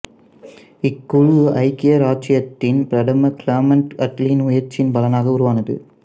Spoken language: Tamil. இக்குழு ஐக்கிய இராச்சியத்தின் பிரதமர் கிளமண்ட் அட்லியின் முயற்சியின் பலனாக உருவானது